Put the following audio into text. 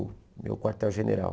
meu quartel-general.